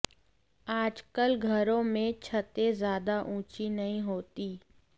आजकल घरों में छतें ज्यादा ऊंची नहीं होतीं